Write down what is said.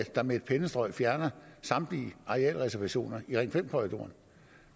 der med et pennestrøg fjerner samtlige arealreservationer i ring fem korridoren